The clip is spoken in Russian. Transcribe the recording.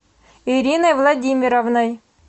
ириной владимировной